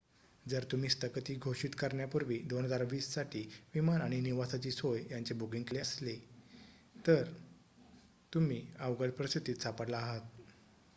जर तुम्ही स्थगिती घोषित करण्यापूर्वी 2020 साठी विमान आणि निवासाची सोय यांचे बुकिंग केले असेल तर तुम्ही अवघड परिस्थितीत सापडला आहात